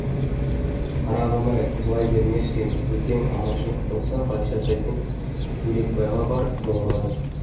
қарағым ай жылай бермеші енді ертең аманшылық болса ғайша тәтең бөлекбайға барып жолығады